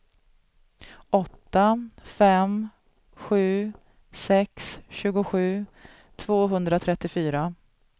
åtta fem sju sex tjugosju tvåhundratrettiofyra